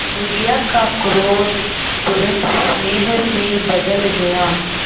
बुढ़िया का क्रोध तुरंत स्नेह में बदल गया